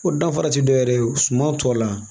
O danfara ti dɔ wɛrɛ ye suman tɔ la